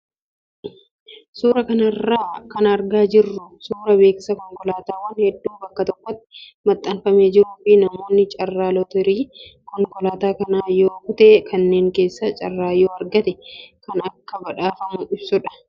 Suuraa kana irraa kan argaa jirru suuraa beeksisa konkolaataawwan hedduu bakka tokkotti maxxanfamee jiruu fi namoonni carraa lotarii konkolaataa kanaa yoo kute kanneen keessaa carraa yoo argate kan akka badhaafamu ibsudha.